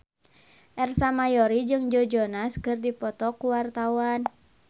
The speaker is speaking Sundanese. Ersa Mayori jeung Joe Jonas keur dipoto ku wartawan